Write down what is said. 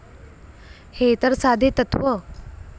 हे तर साधे तत्त्व.